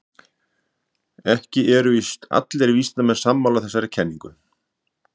Ekki eru allir vísindamenn sammála þessari kenningu.